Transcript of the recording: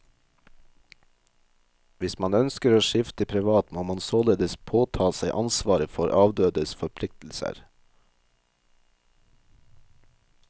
Hvis man ønsker å skifte privat, må man således påta seg ansvaret for avdødes forpliktelser.